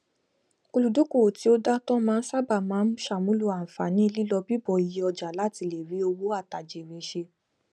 olùdókòwò tí ó dántọ náà sáábà máa n ṣàmúlò ànfààní lílọbíbọ iye ọjà láti lè rí òwò àtàjèrè ṣe